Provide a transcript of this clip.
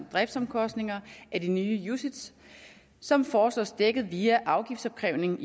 driftsomkostninger af de nye ucits som foreslås dækket via afgiftsopkrævning